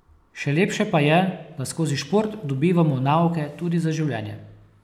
Še lepše pa je, da skozi šport dobivamo nauke tudi za življenje.